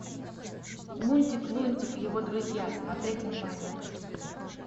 мультик лунтик и его друзья смотреть онлайн